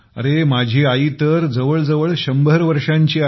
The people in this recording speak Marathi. अरे माझी आई तर जवळजवळ 100 वर्षांची आहे